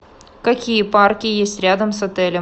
какие парки есть рядом с отелем